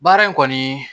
Baara in kɔni